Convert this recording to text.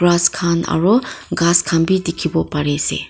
Grass khan aro ghas khan bhi dekhevo pare ase.